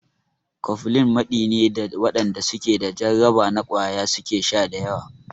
Cofflin maɗi ne da waɗanda su ke da jarraba na ƙwaya su ke sha da yawa.